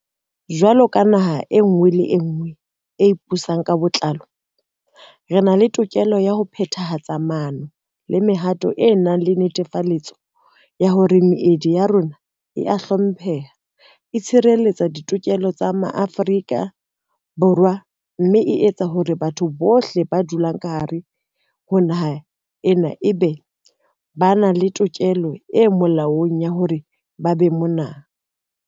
Jwalo ka naha e nngwe le e nngwe e ipusang ka botlalo, re na le tokelo ya ho phethahatsa maano le mehato e nang le netefaletso ya hore meedi ya rona e a hlompheha, e tshireletsa ditokelo tsa Ma-afrika Borwa, mme e tsa hore batho bohle ba dulang ka hare ho naha ena e be ba nang le tokelo e molaong ya hore ba be mona.